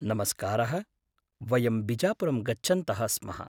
नमस्कारः, वयं बिजापुरं गच्छन्तः स्मः।